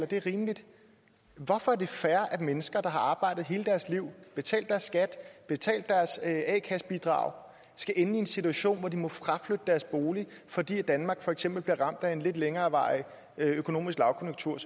det er rimeligt men hvorfor er det fair at mennesker der har arbejdet hele deres liv betalt deres skat og betalt deres a kassebidrag skal ende i en situation hvor de må fraflytte deres bolig fordi danmark for eksempel bliver ramt af en lidt længerevarende økonomisk lavkonjunktur